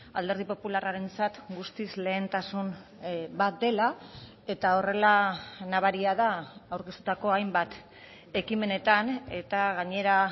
alderdi popularrarentzat guztiz lehentasun bat dela eta horrela nabaria da aurkeztutako hainbat ekimenetan eta gainera